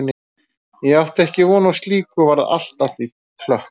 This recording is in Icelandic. Ég átti ekki von á slíku og varð allt að því klökk.